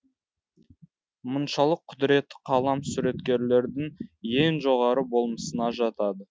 мұншалық құдіретті қалам суреткерліктің ең жоғары болмысына жатады